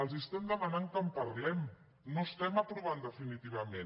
els estem demanant que en parlem no estem aprovant definitivament